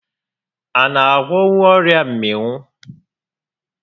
A na agwọnwu ọrịa mmịnwụ?